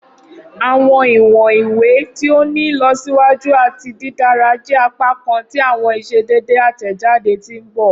Awọn iwọn iwe ti o ni ilọsiwaju ati didara jẹ apakan ti awọn iṣedede atẹjade ti n bọ.